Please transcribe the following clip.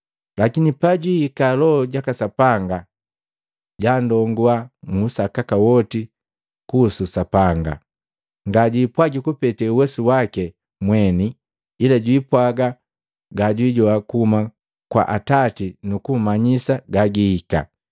Lakini pajwihika Loho jaka Sapanga jandongua muu sakaka woti kuhusu Sapanga. Ngajipwagi kupete uwesu waki mweni, ila jwipwaga gajwijoa kuhuma kwa Atati nukummanyisa gagihika.